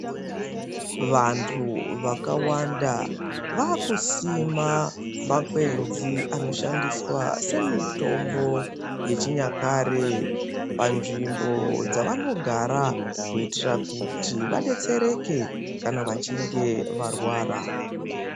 Vantu vakawanda vaakusima makwenzi anoshandiswa semitombo yechinyakare panzvimbo dzavanogara kuitira kuti vadetsereke kana vachinge varwara.